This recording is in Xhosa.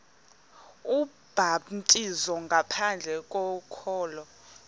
ubhaptizo ngaphandle kokholo